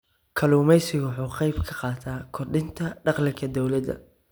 Kalluumaysigu waxa uu ka qayb qaataa kordhinta dakhliga dawladda.